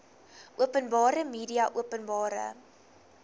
openbare media openbare